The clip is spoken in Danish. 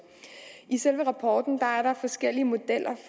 i selve rapporten er der forskellige modeller